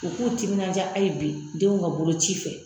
U k'u timinanja hali bi denw ka bolo ci fɛ.